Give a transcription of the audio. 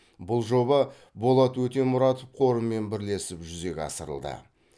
бұл жоба болат өтемұратов қорымен бірлесіп жүзеге асырылды